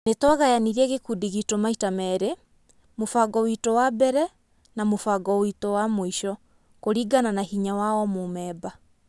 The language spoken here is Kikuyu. Nĩtwagayanirie gĩkundi gitũ maita merĩ, mũbango witũ wa mbere na mũbango witũ wa mũisho, kũringana na hinya wa o mũmemba